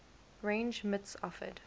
range mits offered